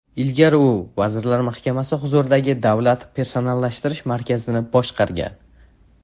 Ilgari u Vazirlar Mahkamasi huzuridagi Davlat personallashtirish markazini boshqargan.